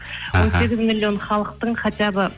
он сегіз миллион халықтың хотя бы